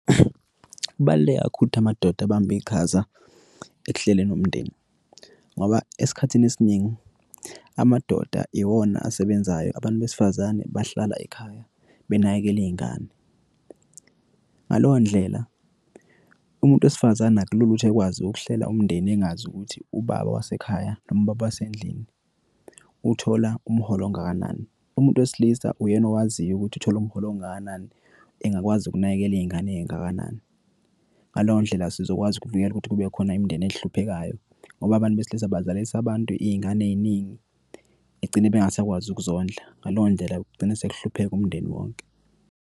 Kubaluleke kakhulu ukuthi amadoda abambe iqhaza ekuhleleni umndeni, ngoba esikhathini esiningi amadoda iwona asebenzayo, abantu besifazane bahlala ekhaya, benakekele iyingane. Ngaleyo ndlela, umuntu wesifazane akulula ukuthi ekwazi ukuhlela umndeni engazi ukuthi ubaba wasekhaya noma ubaba wasendlini uthola umholo ongakanani. Umuntu wesilisa uyena owaziyo ukuthi uthola umholo ongakanani, engakwazi ukunakekela iyingane eyingakanani. Ngaleyo ndlela, sizokwazi ukuvikela ukuthi kube khona imindeni ehluphekayo, ngoba abantu besilisa bazalisa abantu iyingane eyiningi egcine bengasakwazi ukuzondla. Ngaleyo ndlela kugcine sikuhlupheka umndeni wonke.